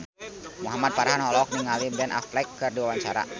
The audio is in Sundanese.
Muhamad Farhan olohok ningali Ben Affleck keur diwawancara